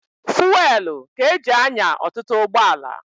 Fuwelụ ka e ji anya ọtụtụ ụgbọala.